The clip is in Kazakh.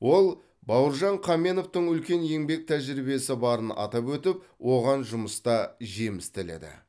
ол бауыржан қаменовтің үлкен еңбек тәжірибесі барын атап өтіп оған жұмыста жеміс тіледі